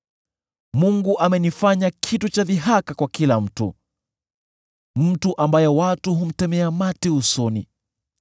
“Mungu amenifanya kitu cha dhihaka kwa kila mtu, mtu ambaye watu humtemea mate usoni.